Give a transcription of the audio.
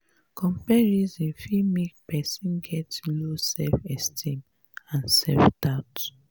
comparison fit make person get low self esteem and self doubt